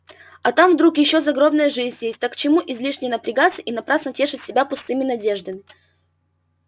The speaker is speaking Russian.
а там вдруг ещё загробная жизнь есть так к чему излишне напрягаться и напрасно тешить себя пустыми надеждами